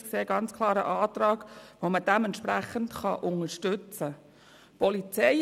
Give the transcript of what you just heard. Dies hier ist ganz klar ein Antrag, den man deshalb unterstützen kann.